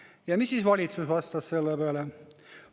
Ja mis siis valitsus vastas selle peale?